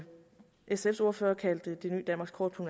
sfs ordfører kaldt det nye danmarkskort på